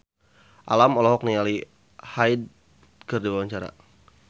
Alam olohok ningali Hyde keur diwawancara